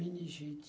Minigite.